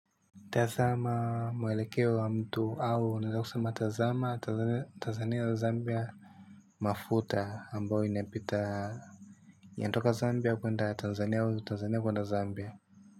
Tazama mwelekeo wa mtu au. Nataka kusema. Tazama, Tanzania, zambia, mafuta. Ambyo inapita yanatoka Zambia kuenda Tanzania au Tanzania kuenda Zambia.